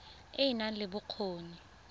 e e nang le bokgoni